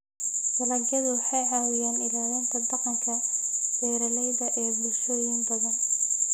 Dalagyadu waxay caawiyaan ilaalinta dhaqanka beeralayda ee bulshooyin badan.